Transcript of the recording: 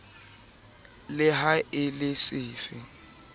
le ha e le sefe